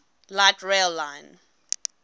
light rail line